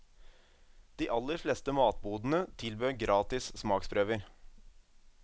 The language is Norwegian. De aller fleste matbodene tilbød gratis smaksprøver.